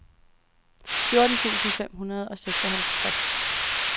fjorten tusind fem hundrede og seksoghalvtreds